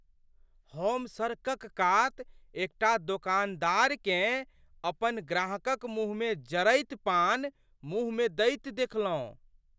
हम सड़कक कात एकटा दोकानदारकेँ अपन ग्राहकक मुँहमे जरैत पान मुँह मे दैत देखलहुँ।